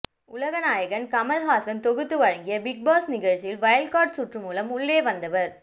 உலகநாயகன் கமலஹாசன் தொகுத்து வழங்கிய பிக்பாஸ் நிகழ்ச்சியில் வயல் கார்டு சுற்று மூலம் உள்ளே வந்தவர்